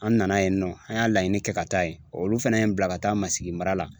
An nana yen nɔ an y'a laɲini kɛ ka taa yen olu fɛnɛ ye n bila ka taa masigi mara la